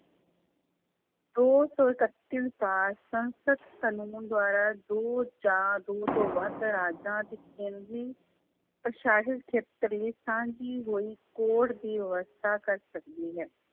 ਦੋ ਸੌ ਇਕੱਤੀ ਅਨੁਸਾਰ ਸੰਸਦ ਕਾਨੂੰਨ ਦੁਆਰਾ ਦੋ ਜਾਂ ਦੋ ਤੋਂ ਵੱਧ ਰਾਜਾਂ ਅਤੇ ਕੇਂਦਰੀ ਸਾਂਝੀ ਹੋਈ ਕੋਰਟ ਦੀ ਵਿਵਸਥਾ ਕਰ ਸਕਦੀ ਹੈ।